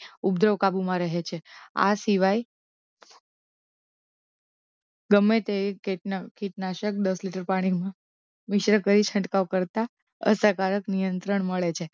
ઉપદ્રવ કાબુમાં રહે છે આ સિવાય ગમે તે કેટના કીટનાશક દસ લિટર પાણીમાં મિશ્ર કરી છંટકાવ કરતાં અસરકારક નિયંત્રણ મળે છે